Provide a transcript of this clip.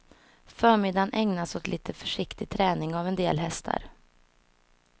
Förmiddagen ägnas åt lite försiktig träning av en del hästar.